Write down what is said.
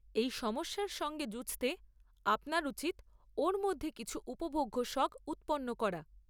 এই সমস্যার সঙ্গে যুঝতে আপনার উচিৎ ওর মধ্যে কিছু উপভোগ্য শখ উৎপন্ন করা।